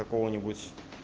какого-нибудь